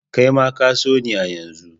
Kai ma ka so ni a yanzu!